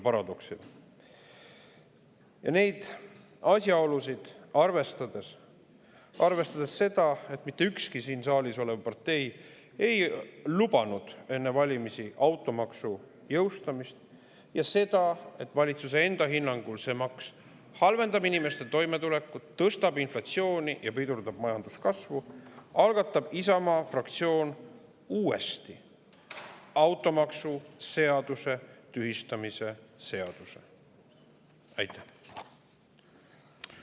Ja kui neid asjaolusid arvestada ja seda, et mitte ükski siin saalis olev partei ei lubanud enne valimisi automaksu jõustada ning et valitsuse enda hinnangul halvendab see maks inimeste toimetulekut, tõstab inflatsiooni ja pidurdab majanduskasvu, algatab Isamaa fraktsioon uuesti maksu seaduse seaduse.